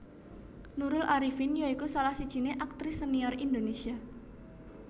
Nurul Arifin ya iku salah sijiné aktris senior Indonésia